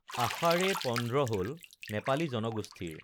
আষাড়ে পন্দ্ৰ হল নেপালী জনগোষ্ঠীৰ